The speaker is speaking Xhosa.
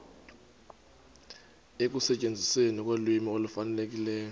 ekusetyenzisweni kolwimi olufanelekileyo